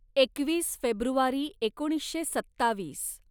एकवीस फेब्रुवारी एकोणीसशे सत्तावीस